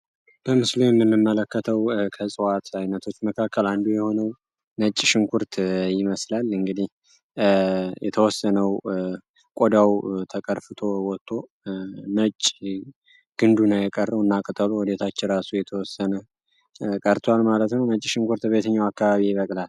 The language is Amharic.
በምስሉ የንመለከተው ከእፅዋዕት ዓይነቶች መካከል አንዱ የሆነው ነጭ ሽንኩርት ይመስላል። እንግዲህ የተወሰነው ቆዳው ተቀርፍቶ ወጥቶ መጭ ግንዱና የቀረው እናቅጠሎ ወዴታች ራሱ የተወሰነ ቀርቷል ማለትነ ነጭ ሽንኩርት ቤተኛው አካባቢ ይበቅላል?